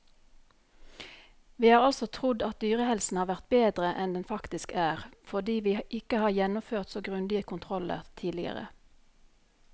Vi har altså trodd at dyrehelsen har vært bedre enn den faktisk er, fordi vi ikke har gjennomført så grundige kontroller tidligere.